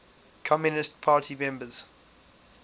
communist party members